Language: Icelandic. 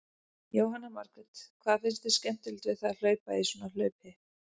Jóhanna Margrét: Hvað finnst þér skemmtilegt við það að hlaupa í svona hlaupi?